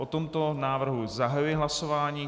O tomto návrhu zahajuji hlasování.